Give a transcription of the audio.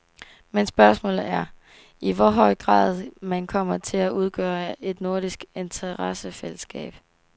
Men spørgsmålet er, i hvor høj grad man kommer til at udgøre et nordisk interessefællesskab.